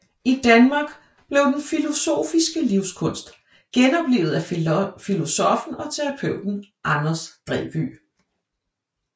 I Danmark blev den filosofiske livskunst genoplivet af filosoffen og terapeuten Anders Dræby